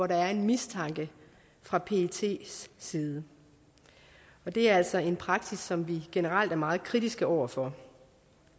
der er en mistanke fra pets side det er altså en praksis som vi generelt er meget kritiske over for